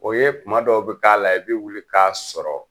O ye kuma dɔw bi k'a la i bi wuli k'a sɔrɔ.